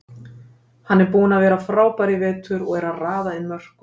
Hann er búinn að vera frábær í vetur og er að raða inn mörkum.